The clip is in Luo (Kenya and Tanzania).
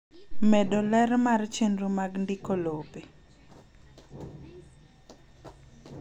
Medo ler mar chenro mag ndiko lope.